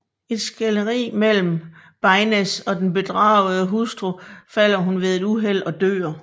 Efter et skænderi mellem Baines og den bedragede hustru falder hun ved et uheld og dør